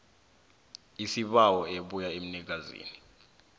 isibawo ebuya emnikazini